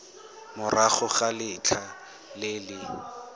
morago ga letlha le le